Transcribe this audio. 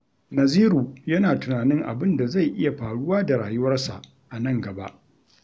Naziru yana tunanin abin da zai iya faruwa da rayuwarsa a nan gaba.